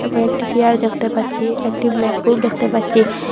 কয়েকটি চেয়ার দেখতে পাচ্ছি একটি ব্ল্যাকবোর্ড দেখতে পাচ্ছি।